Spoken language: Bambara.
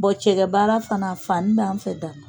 cɛgɛ baara fana fani b'an fɛ dara